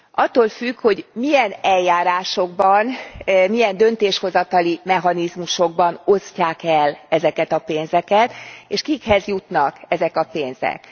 Attól függ, hogy milyen eljárásokban, milyen döntéshozatali mechanizmusokban osztják el ezeket a pénzeket, és kikhez jutnak ezek a pénzek.